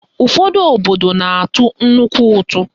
Ụfọdụ òtù na-atụ nnukwu ụtụ